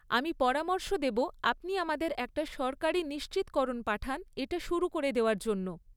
আমি পরামর্শ দেব আপনি আমাদের একটা সরকারী নিশ্চিতকরণ পাঠান এটা শুরু করে দেওয়ার জন্য।